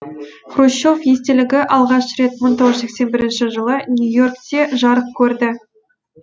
хрущев естелігі алғаш рет мың тоғыз жүз сексен бірінші жылы нью йоркте жарық көрді